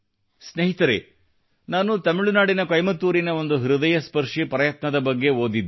ಸ್ನೇಹಿತರೇ ನಾನು ತಮಿಳುನಾಡಿನ ಕೊಯಂಬತ್ತೂರಿನ ಒಂದು ಹೃದಯ ಸ್ಪರ್ಶಿ ಪ್ರಯತ್ನದ ಬಗ್ಗೆ ಓದಿದ್ದೆ